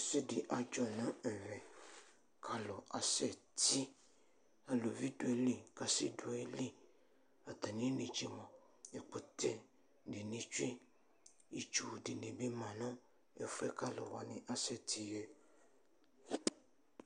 Ɛsɛdi adzɔ nʋ ɛvɛ kʋ alʋ asɛti Alʋvi dʋ ayili kʋ asibi dʋ ayili Atami inetse mʋa, ɛkʋtɛ dini tsue, itsu dini bi manʋ ɛfʋ yɛ kʋ alʋ wani asɛti yɛ